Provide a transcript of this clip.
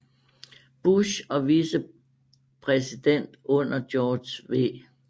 Bush og vicepræsident under George W